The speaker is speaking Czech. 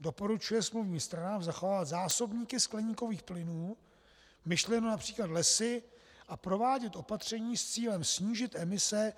Doporučuje smluvním stranám zachovat zásobníky skleníkových plynů - myšleno například lesy - a provádět opatření s cílem snížit emise